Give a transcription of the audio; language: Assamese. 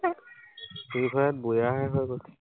free fire ত বৈয়া হে হয় কৈছো।